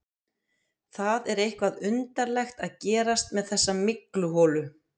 Það er eitthvað undarlegt að gerast með þessa mygluholu.